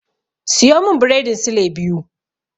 Siyo min biredin sule biyu.